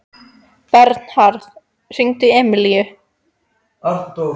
Bernharð, hringdu í Emilíu.